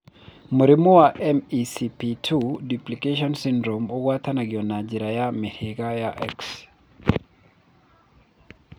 Mũrimũ wa MECP2 duplication syndrome ũgwatanagio na njĩra ya mĩhĩrĩga ya X.